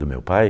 Do meu pai?